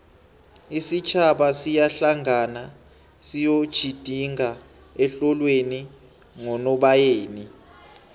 isitjhaba siyahlangana siyoejidinga ehlolweni ngonobayeni